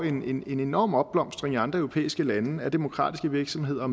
en enorm opblomstring i andre europæiske lande af demokratiske virksomheder og